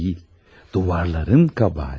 Divarların kəbahəti.